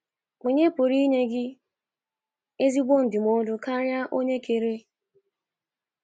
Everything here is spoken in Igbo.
Onye pụrụ inye gị ezigbo ndụmọdụ karịa onye kere?